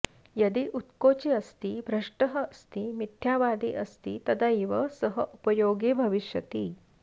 यदि उत्कोची अस्ति भ्रष्टः अस्ति मिथ्यावादी अस्ति तदैव सः उपयोगी भविष्यति